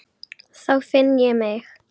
Þá finn ég mig.